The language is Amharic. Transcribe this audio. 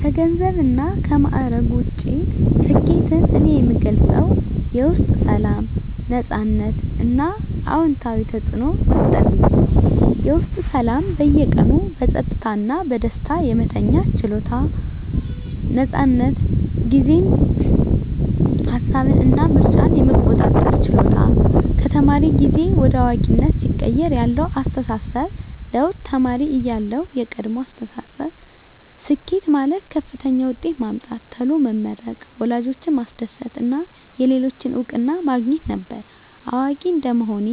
ከገንዘብና ከማዕረግ ውጭ፣ ስኬትን እኔ የምገልጸው የውስጥ ሰላም፣ ነፃነት እና አዎንታዊ ተፅዕኖ መፍጠር ብዬ ነው። -የውስጥ ሰላም በየቀኑ በጸጥታ እና በደስታ የመተኛት ችሎታ። ነፃነት ጊዜን፣ ሃሳብን እና ምርጫን የመቆጣጠር ችሎታ -ከተማሪ ጊዜ ወደ አዋቂነት ሲቀየር ያለው አስተሳሰብ ለውጥ -ተማሪ እያለሁ (የቀድሞ አስተሳሰብ)፦ ስኬት ማለት ከፍተኛ ውጤት ማምጣት፣ ቶሎ መመረቅ፣ ወላጆችን ማስደሰት እና የሌሎችን እውቅና ማግኘት ነበር። አዋቂ እንደመሆኔ